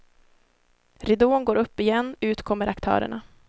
Ridån går upp igen, ut kommer aktörerna.